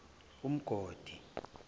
umgodi